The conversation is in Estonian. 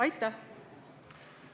Aitäh!